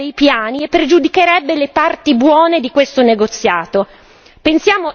che confonderebbe i piani e pregiudicherebbe le parti buone di questo negoziato.